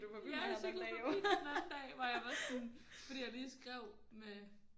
Ja jeg cyklede forbi dig den anden dag hvor jeg var sådan fordi jeg lige skrev med